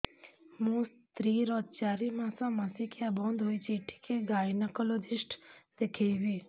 ମୋ ସ୍ତ୍ରୀ ର ଚାରି ମାସ ମାସିକିଆ ବନ୍ଦ ହେଇଛି ଟିକେ ଗାଇନେକୋଲୋଜିଷ୍ଟ ଦେଖେଇବି